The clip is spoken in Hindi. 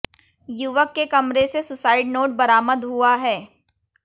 युवक के कमरे से सुसाइड नोट बरामद हुआ है